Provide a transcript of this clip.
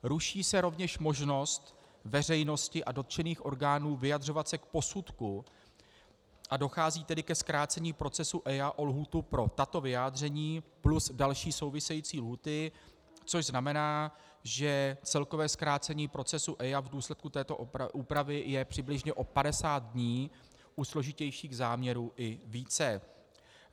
Ruší se rovněž možnost veřejnosti a dotčených orgánů vyjadřovat se k posudku, a dochází tedy ke zkrácení procesu EIA o lhůtu pro tato vyjádření plus další související lhůty, což znamená, že celkové zkrácení procesu EIA v důsledku této úpravy je přibližně o 50 dní, u složitějších záměrů i více.